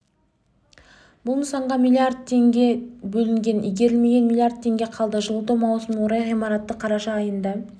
бұл нысанға млрд млн теңге бөлінген игерілмеген млрд теңге қалды жылыту маусымына орай ғимаратты қараша айында